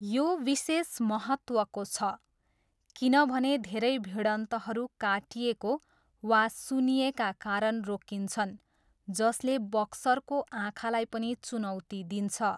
यो विशेष महत्त्वको छ, किनभने धेरै भिडन्तहरू काटिएको वा सुन्निएका कारण रोकिन्छन् जसले बक्सरको आँखालाई पनि चुनौती दिन्छ।